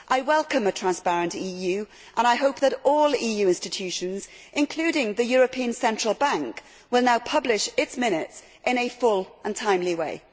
I welcome a transparent EU and I hope that all EU institutions, including the European Central Bank, will now publish their minutes in a full and timely way.